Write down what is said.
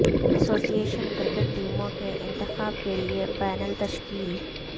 ایسوسی ایشن کرکٹ ٹیموں کے انتخاب کیلئے پینل تشکیل